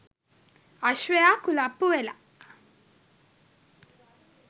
අශ්වයා කුලප්පු වෙලා